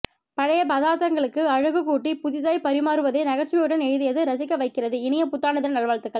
பழைய பதார்த்தங்களுக்கு அழகு கூட்டிப் புதிதாய் பறிமாறுவதை நகைச்சுவையுடன் எழுதியது ரசிக்க வைக்கிறது இனிய புத்தாண்டு தின நல் வாழ்த்துகள்